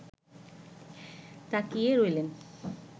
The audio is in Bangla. তাকিয়ে রইলেন